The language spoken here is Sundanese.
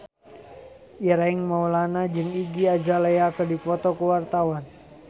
Ireng Maulana jeung Iggy Azalea keur dipoto ku wartawan